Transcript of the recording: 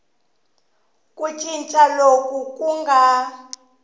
ku cinca loku ku nga